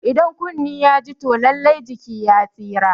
Idan kunne ya ji toh lallai jiki ya tsira